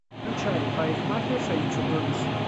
включай парикмахерша и чудовище